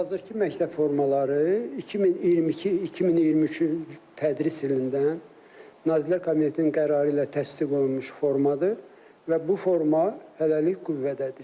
hazırki məktəb formaları 2022-2023-cü tədris ilindən Nazirlər Kabinetinin qərarı ilə təsdiq olunmuş formadır və bu forma hələlik qüvvədədir.